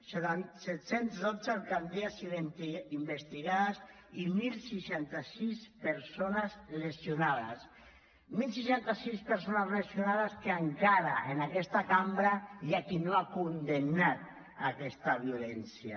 set cents dotze alcaldies investigades i deu seixanta sis persones lesionades deu seixanta sis persones lesionades que encara en aquesta cambra hi ha qui no ha condemnat aquesta violència